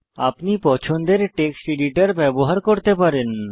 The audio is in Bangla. আপনি পছন্দের টেক্সট এডিটর ব্যবহার করতে পারেন